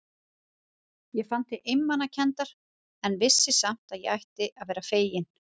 Ég fann til einmanakenndar, en vissi samt að ég ætti að vera fegin.